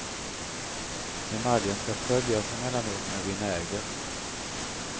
Emaljen ska sköljas emellanåt med vinäger.